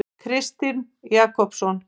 Kristinn Jakobsson